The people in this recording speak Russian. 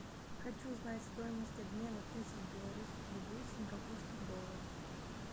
хочу знать стоимость обмена тысяч белорусских рублей в сингапурских долларах